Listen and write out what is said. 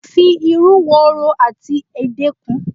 Mo fi ìrú wòrò ati ède kún